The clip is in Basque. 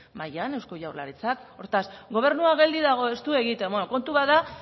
mahaian eusko jaurlaritzak hortaz gobernua geldi dago ez du egiten beno kontua da